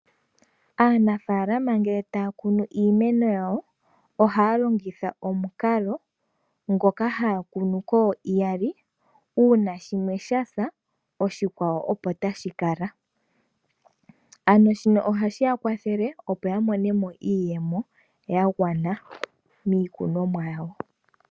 Aanafaalama ngele taya kunu iimeno yawo ohaya longitha omukalo ngoka haya kunu kooiyali uuna shimwe shasa oshikwawo opo tashi kala. Ano shino ohashi ya kwathele opo ya mone mo iiyemo ya gwana miikunomwa yawo.